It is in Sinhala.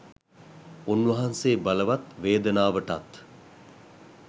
උන්වහන්සේ බලවත් වේදනාවටත්